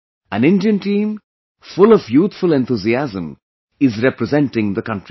An Indian team, full of youthful enthusiasm is representing the country there